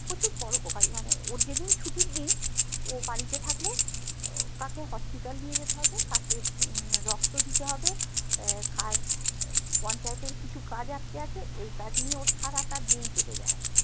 প্রচুর পরউপকারী মানে ওর যেদিন ছুটির দিন ও বাড়িতে থাকলে আহ কাকু hospital নিয়ে যেতে হবে কাকে উম রক্ত দিতে হবে আহ কার আহ পঞ্চায়েত এর কিছু কাজ আটকে আছে এই কাজ নিয়ে ওর সারাটা দিন কেটে যাই